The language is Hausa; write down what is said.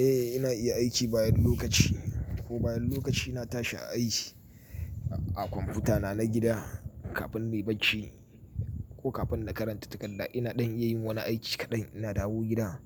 Eh ina iya aiki bayan lokaci. Ko bayan lokaci na tashi a aiki a kwamfutana na gida kafin nayi bacci ko kafin na karanta takarda ina dan iya yin wani aiki kaɗan. Ina dawo gida